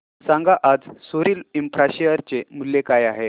सांगा आज सोरिल इंफ्रा शेअर चे मूल्य काय आहे